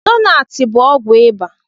Lonat bụ ọgwụ ịbà.